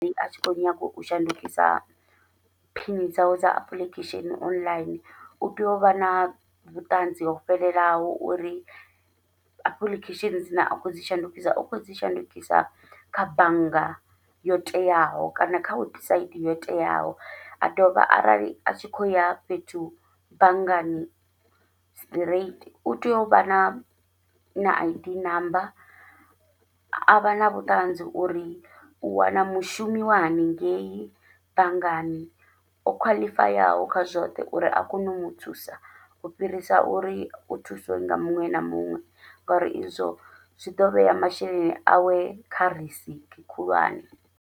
Atshi kho nyaga u shandukisa phini dzawe dza apuḽikhesheni online, utea uvha na vhuṱanzi ho fhelelaho uri apuḽikhesheni dzine a kho dzi shandukisa u kho dzi shandukisa kha bannga yo teaho kana kha webusaidi yo teaho, a dovha arali a tshi kho ya fhethu banngani straight u tea uvha na na Id ṋamba avha na vhuṱanzi uri u wana mushumi wa haningei bangani o khwaḽifayaho kha zwoṱhe uri a kone u muthusa, u fhirisa uri u thusiwe nga muṅwe na muṅwe ngori izwo zwi ḓo vhea masheleni awe kha risiki khulwane.